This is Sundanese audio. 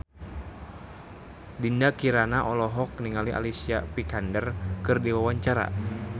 Dinda Kirana olohok ningali Alicia Vikander keur diwawancara